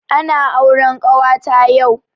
Ana auren kawata yau